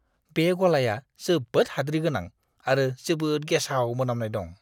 बे गलाया जोबोद हाद्रि गोनां आरो जोबोद गेसाव मोनामनाय दं!